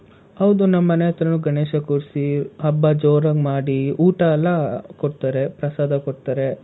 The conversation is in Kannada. ಹೌದು, ನಮ್ ಮನೆ ಹತ್ರಾನೂ ಗಣೇಶ ಕೂರಿಸಿ ಹಬ್ಬ ಜೋರಾಗ್ ಮಾಡಿ ಊಟ ಎಲ್ಲ ಕೊಡ್ತಾರೆ, ಪ್ರಸಾದ ಕೊಡ್ತಾರೆ.